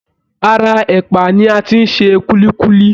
Ara ẹ̀pà ni a ti ń ṣe kúlíkúlí